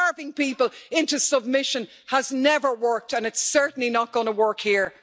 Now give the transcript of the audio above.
Starving people into submission has never worked, and it is certainly not going to work here.